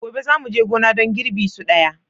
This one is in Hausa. Gobe za mu je gona don girbi su daya.